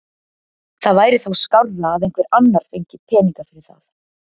Það væri þá skárra að einhver annar fengi peninga fyrir það.